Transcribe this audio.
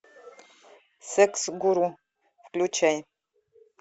секс гуру включай